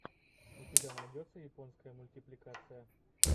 у тебя найдется японская мультипликация